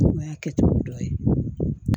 O y'a kɛcogo dɔ ye